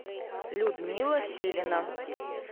людмила силина